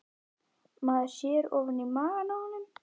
Maður sér ofan í maga á honum